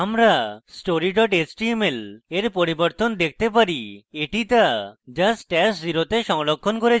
আমরা story html we পরিবর্তন দেখতে পারি এটি তা যা stash @{0} তে সংরক্ষণ করেছি